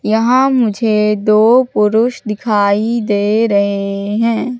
यहां मुझे दो पुरुष दिखाई दे रहे हैं।